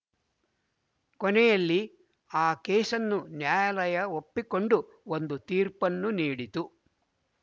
ಕೊನೆಯಲ್ಲಿ ಆ ಕೇಸನ್ನು ನ್ಯಾಯಾಲಯ ಒಪ್ಪಿಕೊಂಡು ಒಂದು ತೀರ್ಪನ್ನು ನೀಡಿತು